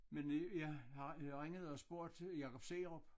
Men ja jeg ringede og spurgte Jakob Seerup